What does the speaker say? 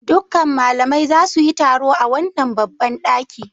Dukkan malamai za su yi taro a wannan babban ɗaki.